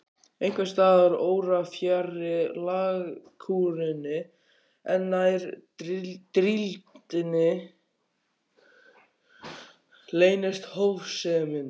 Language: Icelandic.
Einhvers staðar órafjarri lágkúrunni, en nær drýldninni, leynist hófsemin.